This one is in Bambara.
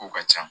Kow ka ca